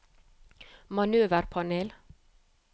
manøverpanel